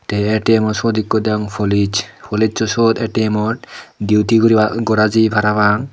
tey atimot seyot ko deygong police policeso siyot atimot siyot duty gora jiye para pang.